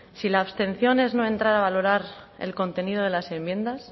si la abstención es no entrar a valorar el contenido de las enmiendas